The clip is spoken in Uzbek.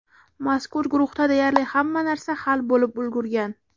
Mazkur guruhda deyarli hamma narsa hal bo‘lib ulgurgan.